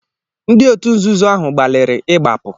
Ndị òtù nzuzo ahụ gbalịrị ịgbapụ.